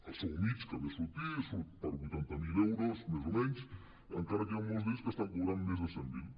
el sou mitjà que ve a sortir surt per vuitanta miler euros més o menys encara que molts d’ells n’estan cobrant més de cent miler